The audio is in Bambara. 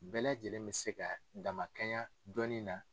Bɛɛ lajɛlen bɛ se ka damakɛnya dɔnni na.